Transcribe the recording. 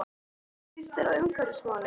Hvernig líst þér á umhverfismálin?